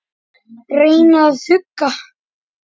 Reyna að hugga.